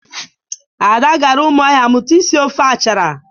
Ada gara Ụmụahịa mụta isi ofe achara.